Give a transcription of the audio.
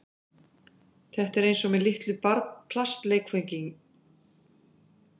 Þetta er eins og með litlu plastleikföngin sem æmta ef maður kreist